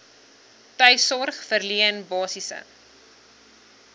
tuissorg verleen basiese